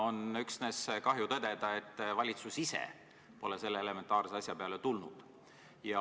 On üksnes kahju tõdeda, et valitsus ise pole selle elementaarse asja peale tulnud.